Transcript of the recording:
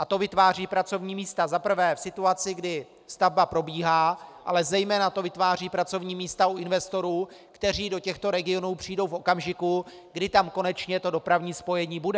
A to vytváří pracovní místa za prvé v situaci, kdy stavba probíhá, ale zejména to vytváří pracovní místa u investorů, kteří do těchto regionů přijdou v okamžiku, kdy tam konečně dopravní spojení bude.